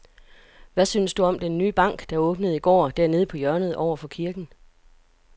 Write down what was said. Hvad synes du om den nye bank, der åbnede i går dernede på hjørnet over for kirken?